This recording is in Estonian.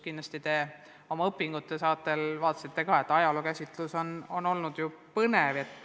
Kindlasti te oma õpingute ajal nägite ka, et ajalookäsitlus on meil põnev olnud.